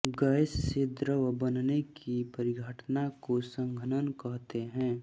gas से द्रव बनने की परिघटना को संघनन कहते हैं